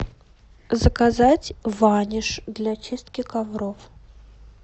заказать ваниш для чистки ковров